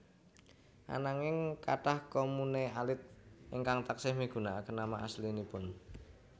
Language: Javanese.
Ananging kathah komune alit ingkang taksih migunakaken nama aslinipun